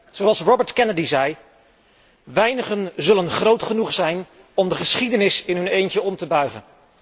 Zoals Robert Kennedy zei Weinigen zullen groot genoeg zijn om de geschiedenis in hun eentje om te buigen